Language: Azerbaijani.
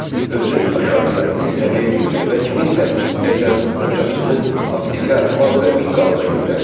Özü aşağıya, zirzəmiyə yüyürdü və kimsə, deyəsən, ocaqçını aptekə maz və bint dalınca göndərdi.